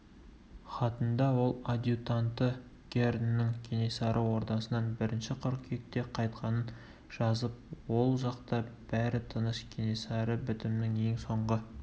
хатында ол адъютанты герннің кенесары ордасынан бірінші қыркүйекте қайтқанын жазып ол жақта бәрі тыныш кенесары бітімнің ең соңғы